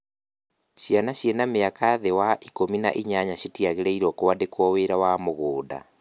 Ciana ciĩna mĩaka thĩ wa ikũmi na inyanya citiagĩrĩirwo kũandĩkwo wĩra wa mũgũnda